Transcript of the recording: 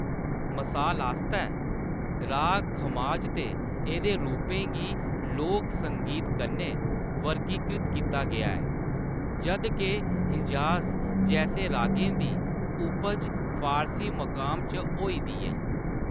मसाल आस्तै, राग खमाज ते एह्‌‌‌दे रूपें गी लोक संगीत कन्नै वर्गीकृत कीता गेआ ऐ, जद् के हिजाज़ जैसे रागें दी उपज फारसी मक़ाम च होई दी ऐ।